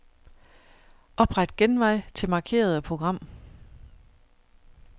Opret genvej til markerede program.